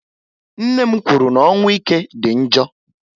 Nne m kwụrụ na ọnwụ ike dị njọ